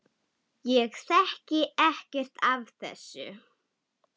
Ég þekki ekkert af þessu.